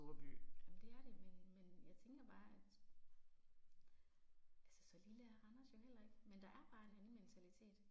Jamen det er det, men men jeg tænker bare at, altså så lille er Randers jo heller ikke, men der er bare en anden mentalitet